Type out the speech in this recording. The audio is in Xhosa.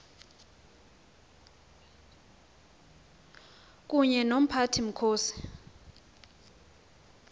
kunye nomphathi mkhosi